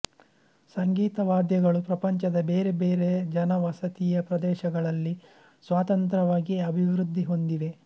ಸಂಗೀತ ವಾದ್ಯಗಳು ಪ್ರಪಂಚದ ಬೇರೆ ಬೇರೆ ಜನವಸತಿಯ ಪ್ರದೇಶಗಳಲ್ಲಿ ಸ್ವತಂತ್ರವಾಗಿ ಅಭಿವೃದ್ಧಿ ಹೊಂದಿವೆ